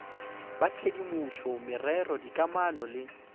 ba tshedimopo merero dikamano le